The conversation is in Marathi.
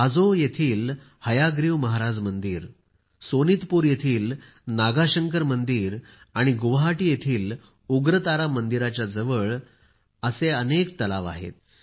हाजो येथील हयाग्रीव मधेब मंदिर सोनीतपूर येथील नागाशंकर मंदिर आणि गुवाहाटी येथील उग्रतारा मंदिराच्या जवळ अशी अनेक तळी आहेत